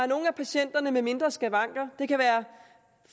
nogle af patienterne med mindre skavanker det kan være